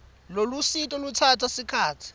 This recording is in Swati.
lolusito lutsatsa sikhatsi